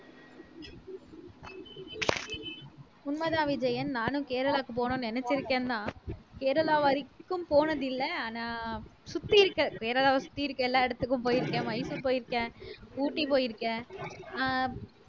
உண்மைதான் விஜயன் நானும் கேரளாவுக்கு போகணும்ன்னு நினைச்சிருக்கேன்னா கேரளா வரைக்கும் போனதில்லை ஆனா சுத்தி இருக்க கேரளாவ சுத்தி இருக்க எல்லா இடத்துக்கும் போயிருக்கேன் மைசூரு போயிருக்கேன் ஊட்டி போயிருக்கேன் ஆஹ்